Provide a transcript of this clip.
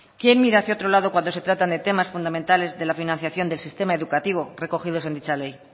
quién mira hacia otro lado cuando se trata de temas fundamentales de la financiación del sistema educativo recogidos en dicha ley